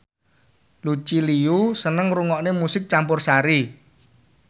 Lucy Liu seneng ngrungokne musik campursari